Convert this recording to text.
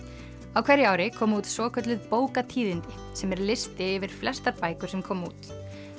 á hverju ári koma út svokölluð bókatíðindi sem er listi yfir flestar bækur sem koma út